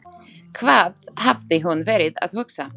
Hvað hafði hún verið að hugsa?